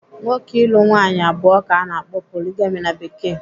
Nwoke ịlụ nwaanyị abụọ ka ana akpọ 'poligami' na Bekee.